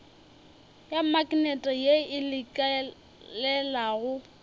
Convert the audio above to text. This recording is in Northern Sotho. ya maknete ye e lekelelago